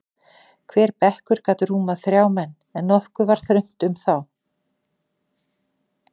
Hver bekkur gat rúmað þrjá menn, en nokkuð var þröngt um þá.